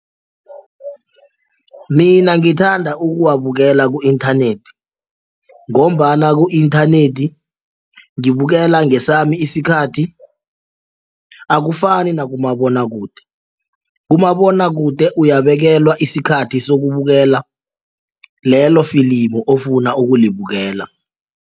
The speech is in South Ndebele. Mina ngithanda ukuwabukela ku-inthanethi ngombana ku-inthanethi ngibukela ngesami isikhathi akufani nakumabonwakude. Kumabonwakude uyabekelwa isikhathi sokubukela lelo filimu ofuna ukulibukela.